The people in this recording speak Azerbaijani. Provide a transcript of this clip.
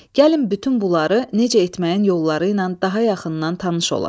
Gəlin bütün bunları necə etməyin yolları ilə daha yaxından tanış olaq.